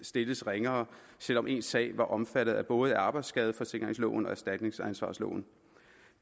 stilles ringere selv om ens sag er omfattet af både arbejdsskadeforsikringsloven og erstatningsansvarsloven